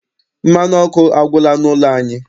Mmanụ ọkụ agwụla n'ụlọ anyị.